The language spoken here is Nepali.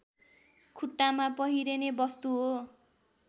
खुट्टामा पहिरिने वस्तु हो